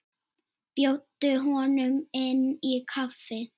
Bjóddu honum inn í kaffi.